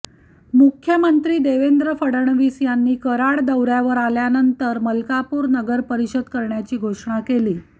मुख्यमंत्री देवेंद्र फडणवीस यांनी कराड दौर्यावर आल्यानंतर मलकापूर नगरपरिषद करण्याची घोषणा केली